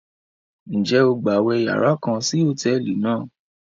Njẹ o gbawe yàrá kàn sí hotẹẹli náà?